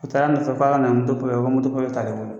U taara nɔfɛ k'a ka na ni moto papiye ye, ko moto papiye t'ale bolo.